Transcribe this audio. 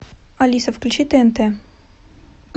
алиса включи тнт